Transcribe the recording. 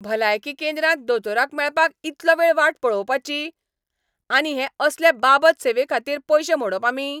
भलायकी केंद्रांत दोतोराक मेळपाक इतलो वेळ वाट पळोवपाची? आनी हे असले बाबत सेवेखातीर पयशे मोडप आमी?